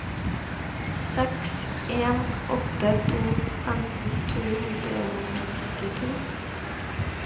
seks en åtte to femten to hundre og nittito